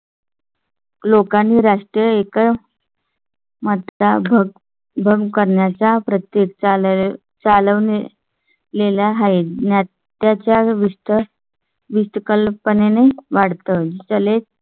लोकांनी राष्ट्रीय एक . मधला भाग बंद करण्याच्या प्रत्येक चालेल चालू आहे. त्याच्या विस्तर कल्पने ने वाढत जले